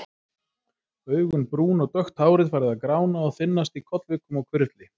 Augun brún og dökkt hárið farið að grána og þynnast í kollvikum og hvirfli.